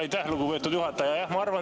Aitäh, lugupeetud juhataja!